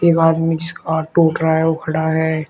एक आदमी जिसका हाथ टूट रहा है वो खड़ा है।